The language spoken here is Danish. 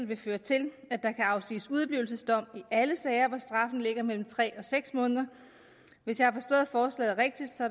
vil føre til at der kan afsiges udeblivelsesdom i alle sager hvor straffen ligger mellem tre og seks måneder hvis jeg har forstået forslaget rigtigt